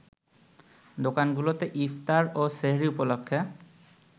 দোকানগুলোতে ইফতার ও সেহরি উপলক্ষে